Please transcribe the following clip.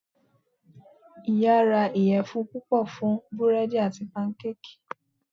Iya ra iyẹfun pupọ fun búredì ati pankéèkí